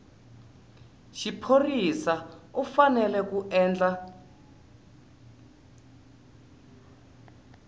xiphorisa u fanele ku endla